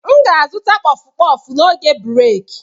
M ga-azụta kpọf kpọf n'oge breeki